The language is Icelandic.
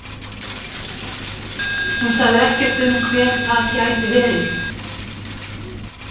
Hún sagði ekkert um hver það gæti verið?